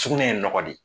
Sugunɛ ye nɔgɔ de ye